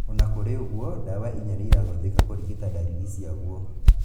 Ona kũrĩ ũguo, ndawa inya nĩirahũthĩka kũrigita ndariri ciaguo